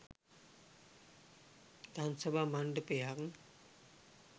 දම්සභා මණ්ඩපයක්